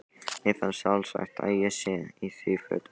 Mér finnst sjálfsagt að ég sé í því hlutverki.